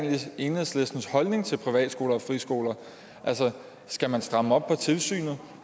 enhedslistens holdning til privatskoler og friskoler altså skal man stramme op på tilsynet